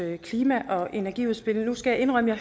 klima og energiudspil skal jeg indrømme at